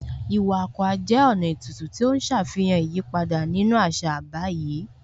Iwa Akwa jẹ́ ọ̀nà ètùtù tí ó ń ṣàfihàn ìyípadà nínú àṣà báyìí